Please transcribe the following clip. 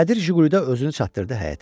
Qədir Jiqulidə özünü çatdırdı həyətə.